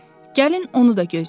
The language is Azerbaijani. Gəlin onu da gözləyək.